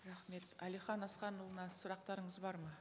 рахмет әлихан асханұлына сұрақтарыңыз бар ма